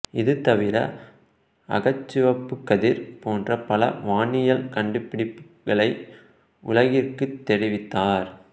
இது தவிர அகச்சிவப்புக் கதிர் போன்ற பல வானியல் கண்டுபிடிப்புகளை உலகிற்குத் தெரிவித்தார்